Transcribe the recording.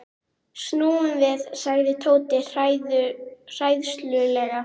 Snúum við sagði Tóti hræðslulega.